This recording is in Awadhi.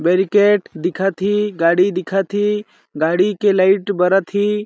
बैरिकेड दिखत ही गाड़ी दिखत ही गाड़ी के लाइट बरत ही।